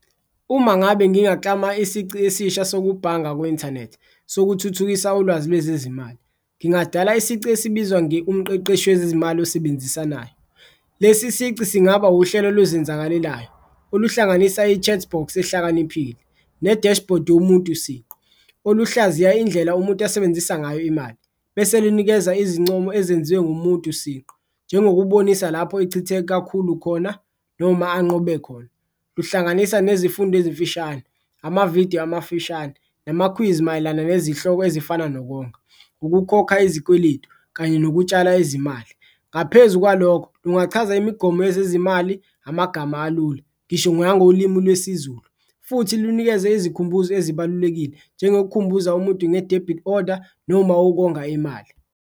Uma ngabe ngingaklama isici esisha sokubhanga ku-inthanethi sokuthuthukisa ulwazi lwezezimali ngingadala isici esibizwa, nge-umqeqeshi wezezimali osebenzisanayo. Lesi sici singaba uhlelo oluzenzakalelayo oluhlanganisa i-chat box ehlakaniphile, ne-dashboard yomuntu siqu, oluhlaziya indlela umuntu asebenzisa ngayo imali, bese linikeza izincomo ezenziwe ngumuntu siqu njengokubonisa lapho echithe kakhulu khona noma anqobe khona. Luhlanganiswa nezifundo ezimfishane, amavidiyo amafushane, namakhwizi mayelana nezihloko ezifana nokonga, ukukhokha izikweletu kanye nokutshala izimali. Ngaphezu kwalokho, kungachaza imigomo yezezimali amagama alula, ngisho ngangolimi lwesiZulu futhi lunikeze ezikhumbuzo ezibalulekile, njengokukhumbuza umuntu nge-debit order noma ukonga imali.